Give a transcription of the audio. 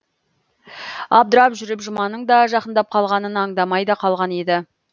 абдырап жүріп жұманың да жақындап қалғанын аңдамай да қалған еді